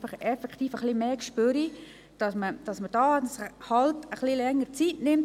Ich erwarte, dass man etwas mehr Feingefühl mitbringt und sich mehr Zeit nimmt.